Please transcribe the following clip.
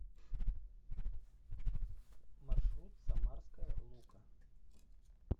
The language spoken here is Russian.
маршрут самарская лука